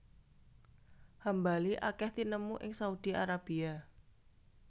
Hambali akèh tinemu ing Saudi Arabia